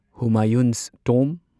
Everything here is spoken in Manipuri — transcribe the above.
ꯍꯨꯃꯥꯌꯨꯟꯁ ꯇꯣꯝꯕ